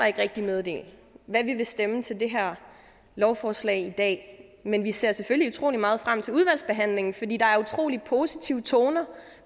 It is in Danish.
ikke rigtig meddele hvad vi vil stemme til det her lovforslag i dag men vi ser selvfølgelig utrolig meget frem til udvalgsbehandlingen fordi der er utrolig positive toner